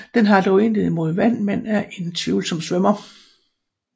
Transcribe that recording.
Den har dog intet imod vand men er en tvivlsom svømmer